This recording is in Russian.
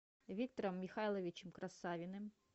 виктором михайловичем красавиным